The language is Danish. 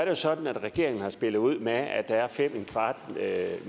jo sådan at regeringen har spillet ud med at der er fem